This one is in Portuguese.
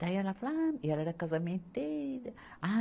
Daí ela fala, ah e ela era casamenteira. ah